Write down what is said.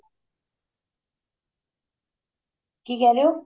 ਕਿ ਕਹਿ ਰਹੇ ਓ